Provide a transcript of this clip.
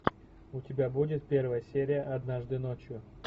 у тебя будет первая серия однажды ночью